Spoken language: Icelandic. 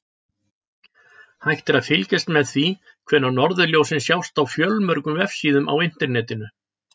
Hægt er að fylgjast með því hvenær norðurljósin sjást á fjölmörgum vefsíðum á Internetinu.